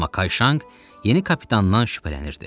Amma Kayşanq yeni kapitandan şübhələnirdi.